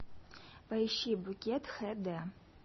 поищи букет хд